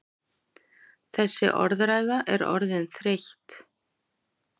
Þessi orðræða er orðin þreytt!